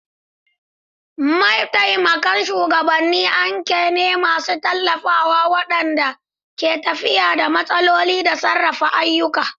Mataimakan shugabanni anka ne masu tallafawa waɗanda ke tafiyar da matsaloli da sarrafa ayyuka.